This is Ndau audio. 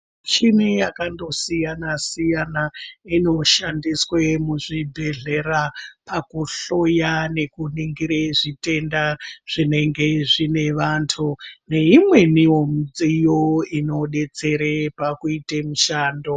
Michini yakasiyana-siyana inoshandiswa muzvibhedhlera pakuhloya nekuningira zvitenda zvinenge zvine vantu neimweni midziyo inodetsera pakuita mishando.